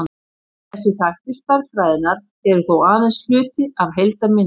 þessir þættir stærðfræðinnar eru þó aðeins hluti af heildarmyndinni